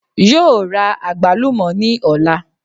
Yóò ra àgbálùmò ní òla